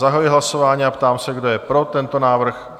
Zahajuji hlasování a ptám se, kdo je pro tento návrh?